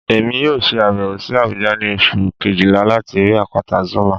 Emi yoo ṣe abẹwo si Abuja ni Oṣu kejila lati rii apata Zuma